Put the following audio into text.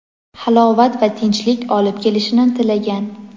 halovat va tinchlik olib kelishini tilagan.